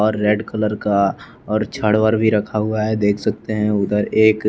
और red colour का और छड़ वड़ भी रखा हुआ है देख सकते हैं उधर एक--